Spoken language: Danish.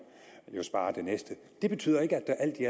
jo spare den næste det betyder ikke at